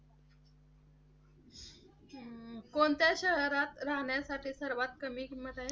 कोणत्या शहरात राहण्यासाठी सर्वात कमी किंमत आहे?